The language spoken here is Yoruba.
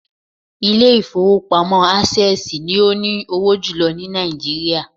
Ilé ìfowópamọ́ Access ni ó ní owó jùlọ ní Nàìjíríà